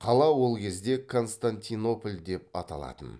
қала ол кезде константинополь деп аталатын